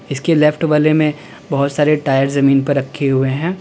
इसके लेफ्ट वाले में बहोत सारे टायर जमीन पर रखे हुए हैं।